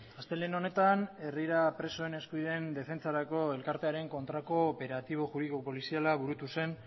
astelehen honetan herrira presoen eskubideen defentsarako elkartearen kontrako operatibo juridiko poliziala burutu zen